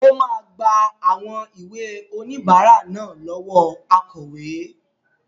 Ó máa gba àwọn ìwé oníbàárà náà lọ́wọ́ akọ̀wé.